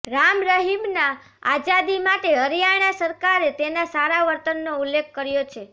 રામ રહીમના આઝાદી માટે હરિયાણા સરકારે તેના સારા વર્તનનો ઉલ્લેખ કર્યો છે